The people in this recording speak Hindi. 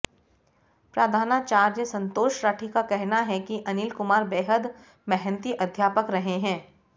प्रधानाचार्या संतोष राठी का कहना है कि अनिल कुमार बेहद मेहनती अध्यापक रहे हैं